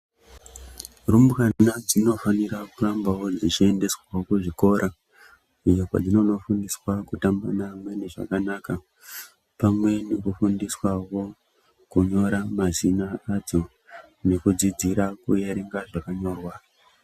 Rumbwana dzinofanira kurambawo dzichiendeswawo kuzvikora iyo kwadzinonofundiswa kutamba neamweni zvakanaka pamwe nekufundiswawo kunyora mazina adzo nekudzidzira kuerenga zvakanyorwa.